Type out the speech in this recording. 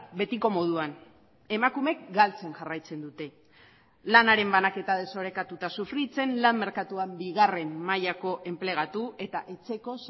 betiko moduan emakumeek galtzen jarraitzen dute lanaren banaketa desorekatuta sufritzen lan merkatuan bigarren mailako enplegatu eta etxeko